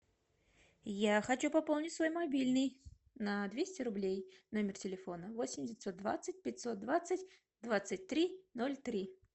я хочу пополнить свой мобильный на двести рублей номер телефона восемь девятьсот двадцать пятьсот двадцать двадцать три ноль три